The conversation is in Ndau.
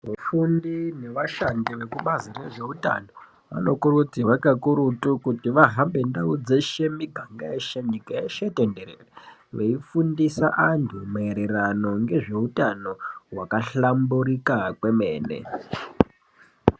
Vafundi nevashandi vekubazi rezveutano vanokurudzirwa kakurutu kuti vahambe ndau dzeshe miganga yeshe nyika yeshe veifundisa antu mairirano ngezveutano wakahlamburika kwemene.